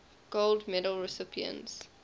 gold medal recipients